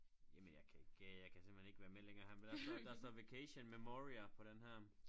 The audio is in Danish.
Jamen jeg kan ikke jeg kan simpelthen ikke være med længere her men der står der står vacation memoria på denne her